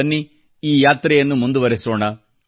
ಬನ್ನಿ ಈ ಯಾತ್ರೆಯನ್ನು ಮುಂದುವರೆಸೋಣ